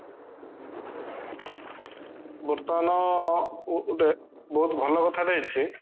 ବର୍ତମାନ ଗୁଟେ ବହୁତ ଭଲ କଥାଟେ ହେଇଛି